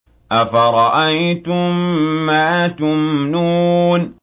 أَفَرَأَيْتُم مَّا تُمْنُونَ